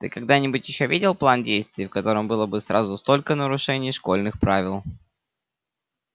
ты когда-нибудь ещё видел план действий в котором было бы сразу столько нарушений школьных правил